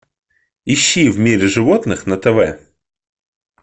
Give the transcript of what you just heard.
ищи в мире животных на тв